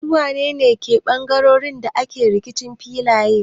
Su wane ne bangarorin da ke rikicin filaye?